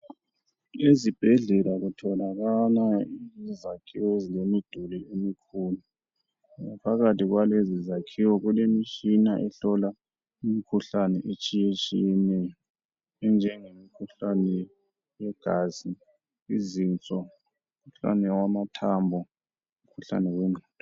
Ezibhedlela kutholakala izakhiwo ezilemiduli emikhulu. Ngaphakathi kwalezi zakhiwo kulemitshina ehlola imikhuhlane etshiyetshiyeneyo enjengemikhuhlane yegazi ,izinso umkhuhlane wamathambo, umkhuhlane wengqondo.